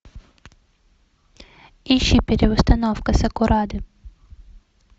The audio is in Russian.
ищи переустановка сакурады